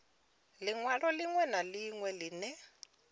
linwalo linwe na linwe line